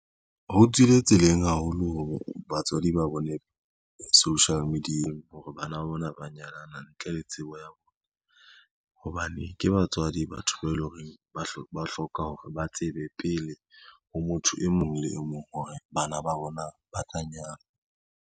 Ho tswile tseleng haholo hore batswadi ba bone social media-eng hore bana ba bona ba nyalana ntle le tsebo ya bona, hobane ke batswadi batho bao e leng hore ba hloka hore ba tsebe pele ho motho e mong le e mong hore bana ba bona ba ka nyala.